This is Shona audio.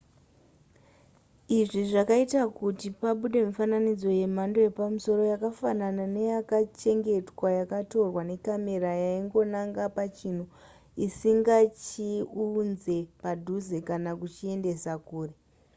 izvi zvakaita kuti pabude mifananidzo yemhando yepamusoro yakafanana neyakachengetwa yakatorwa necamera yaingonanga pachinhu isingachiunze padhuze kana kuchiendesa kure